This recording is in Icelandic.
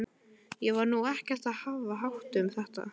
Ég var nú ekkert að hafa hátt um þetta.